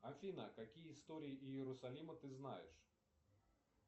афина какие истории иерусалима ты знаешь